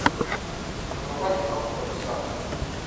врубай киноху мадагаскар